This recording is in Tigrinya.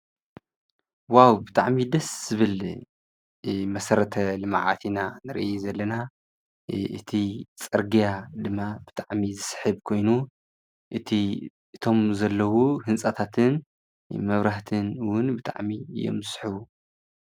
ዋው ብጥዕሚ ደስ ዝብል መሰረተ ልመዓት ኢና ንርኢ ዘለና። እቲ ጸርግያ ድማ ብጣዕሚ ዝስሒብ ኮይኑ እቲ እቶም ዘለዉ ሕንጻታትን መብራህትንውን ብጣዕሚእዮም ዝስሕቡ።